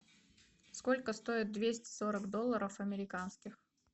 сколько стоит двести сорок долларов американских